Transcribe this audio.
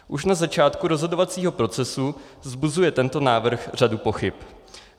Už na začátku rozhodovacího procesu vzbuzuje tento návrh řadu pochyb.